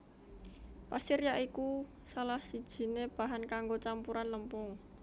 Pasir ya iku salah sijiné bahan kanggo campuran lempung